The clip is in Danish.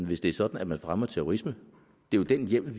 hvis det er sådan at man fremmer terrorisme det er jo den hjemmel